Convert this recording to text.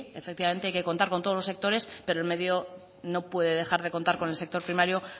efectivamente hay que contar con todos los sectores pero el medio no puede dejar de contar con el sector primario